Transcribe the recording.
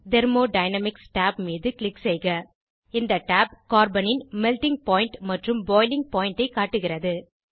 thermodynamics tab மீது click செய்க இந்த tab கார்பனின் மெல்ட்டிங் பாயிண்ட் உருகுநிலை மற்றும் பாய்லிங் பாயிண்ட் கொதிநிலை ஐ காட்டுகிறது